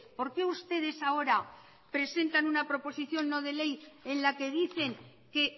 por qué ustedes ahora presentan una proposición no de ley en la que dicen que